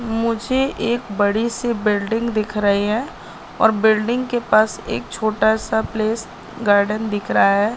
मुझे एक बड़ी सी बिल्डिंग दिख रही है और बिल्डिंग के पास एक छोटा सा प्लेस गार्डन दिख रहा है।